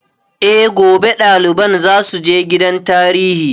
Eh, gobe ɗaliban za su je gidan tarihi